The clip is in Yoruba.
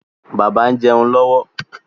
Bàbá ń jẹun lọ́wọ́.